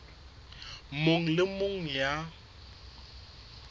mong le e mong ya